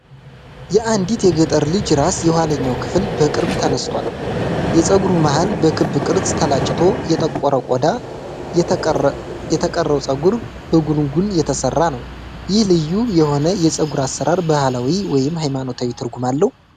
የአንዲት የገጠር ልጅ ራስ የኋለኛው ክፍል በቅርብ ተነስቷል፤ የፀጉሩ መሃል በክብ ቅርጽ ተላጭቶ የጠቆረ ቆዳ፣ የተቀረው ፀጉር በጉንጉን የተሰራ ነው። ይህ ልዩ የሆነ የፀጉር አሰራር ባህላዊ ወይም ሃይማኖታዊ ትርጉም አለው?